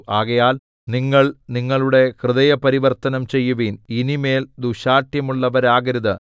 ആകയാൽ നിങ്ങൾ നിങ്ങളുടെ ഹൃദയ പരിവര്‍ത്തനം ചെയ്യുവിൻ ഇനി മേൽ ദുശ്ശാഠ്യമുള്ളവരാകരുത്